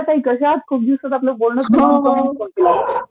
काय ताई कश्या आहात...खूप दिवसांत आपलं काही बोलणंच नाही.... हो हो s